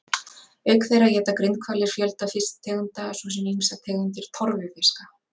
Auk þeirra éta grindhvalir fjölda fisktegunda svo sem ýmsar tegundir torfufiska.